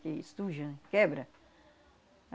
Que estuja, quebra.